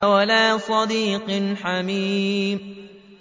وَلَا صَدِيقٍ حَمِيمٍ